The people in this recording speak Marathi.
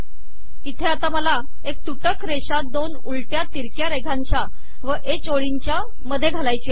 इथे आता मला एक तुटक रेषा दोन उलट्या तिरक्या रेघांच्या व ह ओळींच्या मध्ये घालायची आहे